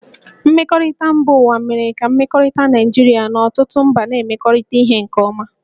Mmekọrịta mba ụwa mere ka mmekọrịta Naịjirịa na ọtụtụ mba na-emekọrịta ihe nke ọma